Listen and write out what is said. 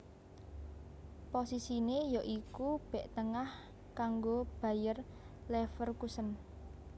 Posisiné ya iku bèk tengah kanggo Bayer Leverkusen